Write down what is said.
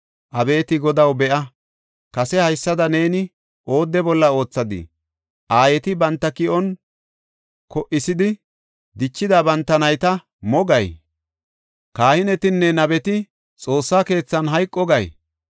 Abeeti Godaw, be7a! kase haysada neeni oodde bolla oothadii? Aayeti banta ki7on ko77isidi dichida banta nayta mo gay? kahinetinne nabeti Xoossa keethan hayqo gay?